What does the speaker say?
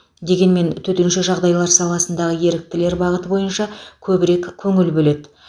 дегенмен төтенше жағдайлар саласындағы еріктілер бағыты бойынша көбірек көңіл бөледі